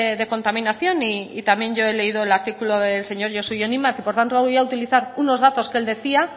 de contaminación y también yo he leído el artículo del señor josu jon imaz y por lo tanto lo voy a utilizar unos datos que él decía